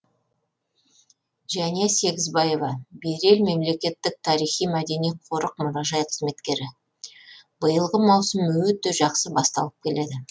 жәния сегізбаева берел мемлекеттік тарихи мәдени қорық мұражай қызметкері биылғы маусым өте жақсы басталып келеді